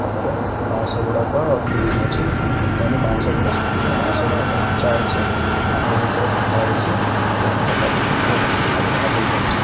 ତା ପରେ ବାଉଁଶ ଗୁଡ଼ାକ ଗ୍ରୀନ ଅଛି ତେଣୁ ବାଉଁଶ ଗୁଡ଼ା ସୁକିନି ବାଉଁଶ ଗୁଡ଼ାକ କଞ୍ଚା ଅଛି ମାଟି ଭିତରେ ପୋତା ହେଇଚି ତେଣୁ ଏଟା ବୋଧେ କୌଣସି ଗୋଟେ ଏଗ୍ରିକଲ୍ଚର ।